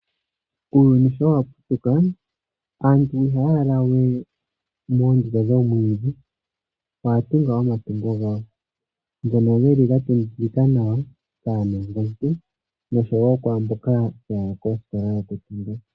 Uuyuni sho wa putuka aantu ihaa lala we moondunda dhoomwiidhi oya tunga omatungo gawo ngono geli ga tungikika nawa kaanongo ntu oshowo kwaamboka haya tungu omatungo.